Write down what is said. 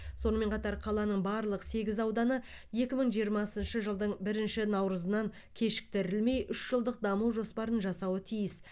сонымен қатар қаланың барлық сегіз ауданы екі мың жиырмасыншы жылдың бірінші наурызынан кешіктірілмей үш жылдық даму жоспарын жасауы тиіс